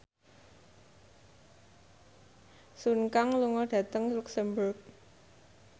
Sun Kang lunga dhateng luxemburg